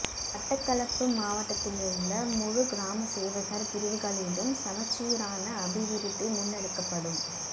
மட்டக்களப்பு மாவட்டத்திலுள்ள முழு கிராம சேவகர் பிரிவுகளிலும் சமச்சீரான அபிவிருத்தி முன்னெடுக்கப்படும்